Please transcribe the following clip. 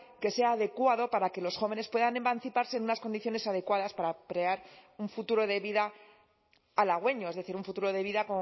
que sea adecuado para que los jóvenes puedan emanciparse en unas condiciones adecuadas para crear un futuro de vida halagüeño es decir un futuro de vida